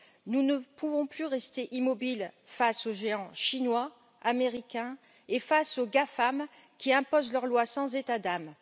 Nous ne pouvons plus rester immobiles face aux géants chinois, américains, et face aux GAFAM qui imposent leur loi, sans état d'âme.